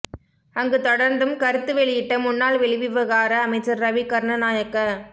அங்கு தொடர்ந்தும் கருத்து வெளியிட்ட முன்னாள் வெளிவிவகார அமைச்சர் ரவி கருணநாயக்க